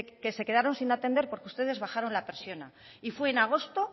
que se quedaron sin atender porque ustedes bajaron la persiana y fue en agosto